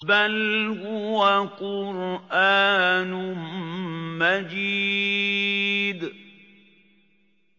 بَلْ هُوَ قُرْآنٌ مَّجِيدٌ